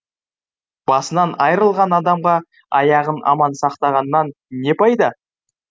басынан айрылған адамға аяғын аман сақтағаннан не пайда